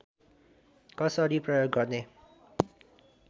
कसरी प्रयोग गर्ने